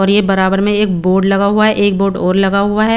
और ये बराबर में एक बोर्ड लगा हुआ है एक बोर्ड और लगा हुआ है.